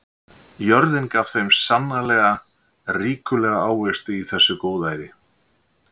Jörðin gaf þeim sannarlega ríkulega ávexti í þessu góðæri.